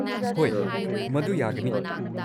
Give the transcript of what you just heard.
ꯍꯣꯏ, ꯃꯗꯨ ꯌꯥꯒꯅꯤ꯫